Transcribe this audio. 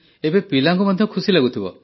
ଏବେ ପିଲାଙ୍କୁ ମଧ୍ୟ ଖୁସି ଲାଗୁଥିବ